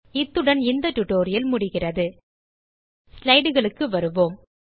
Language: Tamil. இத்துடன் இந்த டியூட்டோரியல் முடிகிறது slideக்கு வருவோம்